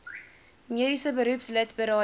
mediese beroepslid berading